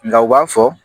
Nka u b'a fɔ